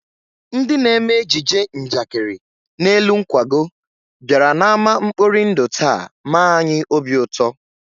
Ndị na-eme ejije njakịrị n'elu nkwago bịara n'ámá mkpori ndụ taa mee anyị obi ụtọ